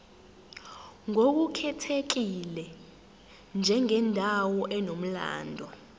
ngokukhethekile njengendawo enomlando